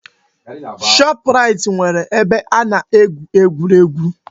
Shoprait nwere ebe a na-egwu egwuregwu.